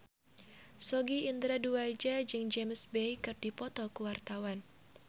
Sogi Indra Duaja jeung James Bay keur dipoto ku wartawan